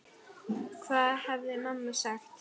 Hvað hefði mamma sagt?